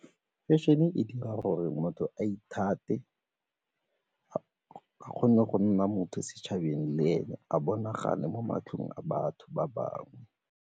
Fashion-e dira gore motho a ithanete a kgone go nna motho setšhabeng le ene a bonagale mo matlhong batho ba bangwe.